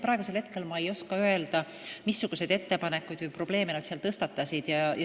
Nii et ma ei oska praegu öelda, missuguseid ettepanekuid või probleeme nad seal tõstatasid.